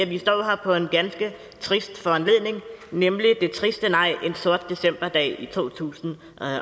vi står her på en ganske trist foranledning nemlig det triste nej en sort decemberdag i to tusind